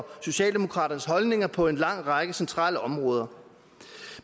socialdemokraternes holdninger på en lang række centrale områder